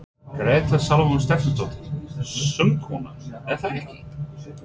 Gréta Salóme Stefánsdóttir, söngkona: Er það ekki?